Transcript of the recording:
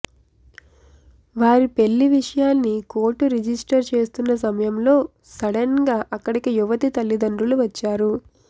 వారి పెళ్లి విషయాన్ని కోర్టు రిజిస్టర్ చేస్తున్న సమయంలో సడెన్ గా అక్కడికి యువతి తల్లిదండ్రులు వచ్చారు